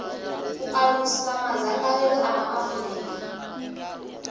u alusa madzangalelo a maafurika